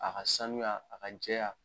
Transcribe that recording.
A ka sanuya, a ka caya .